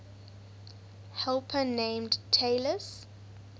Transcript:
helper named talus